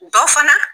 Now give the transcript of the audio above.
Ba fana